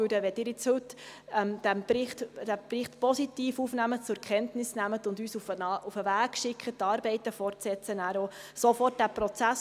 Wenn Sie diesen Bericht nun heute positiv aufnehmen und zur Kenntnis nehmen und uns auf den Weg schicken, die Arbeiten fortzusetzen, starten wir nachher auch sofort diesen Prozess.